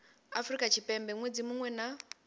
afrika tshipembe ṅwedzi muṅwe na